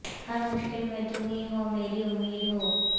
ہر مشکل میں تم ہی ہو میری امید ہو